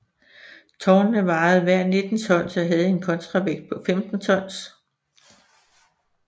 Tårnene vejede hver 19 tons og havde en kontravægt på 15 tons